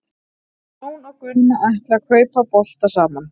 Jón og Gunna ætla að kaupa bolta saman.